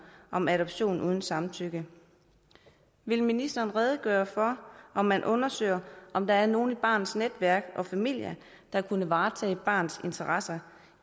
om adoption uden samtykke vil ministeren redegøre for om man undersøger om der er nogen i barnets netværk og familie der kunne varetage barnets interesser